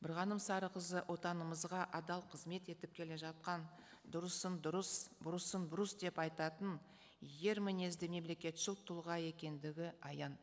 бірғаным сарықызы отанымызға адал қызмет етіп келе жатқан дұрысын дұрыс бұрысын бұрыс деп айтатын ер мінезді мемлекетшіл тұлға екендігі аян